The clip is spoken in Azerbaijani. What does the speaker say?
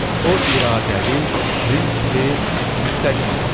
O iradəli, prinsipili, müstəqim adamdır.